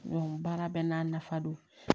baara bɛɛ n'a nafa don